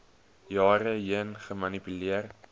jare heen gemanipuleer